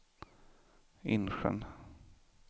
Insjön